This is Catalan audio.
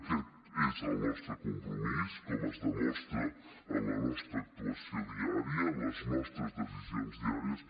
aquest és el nostre compromís com es demostra en la nostra actuació diària en les nostres decisions diàries